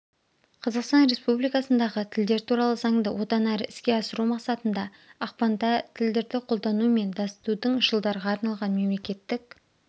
қазақстан республикасындағы тілдер туралы заңды одан әрі іске асыру мақсатында ақпанда тілдірді қолдану мен дасытудың жылдарға арналған мемлекеттік